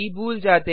भूल जाते हैं